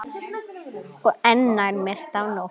Og enn nær myrkt af nótt.